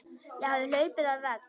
Ég hafði hlaupið á vegg.